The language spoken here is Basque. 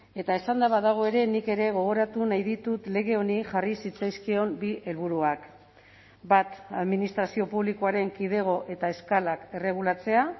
eta esanda badago ere nik ere gogoratu nahi ditut lege honi jarri zitzaizkion bi helburuak bat administrazio publikoaren kidego eta eskalak erregulatzea